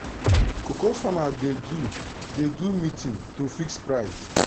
cocoa farmer dey do dey do meeting to fix price.